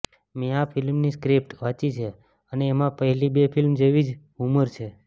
મેં આ ફિલ્મની સ્ક્રિપ્ટ વાંચી છે અને એમાં પહેલી બે ફિલ્મો જેવી જ હ્યુમર છે